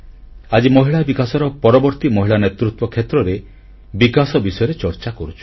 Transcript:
ଆଜି ମହିଳା ବିକାଶର ପରବର୍ତ୍ତୀ ମହିଳା ନେତୃତ୍ୱ କ୍ଷେତ୍ରରେ ବିକାଶ ବିଷୟରେ ଚର୍ଚ୍ଚା କରୁଛୁ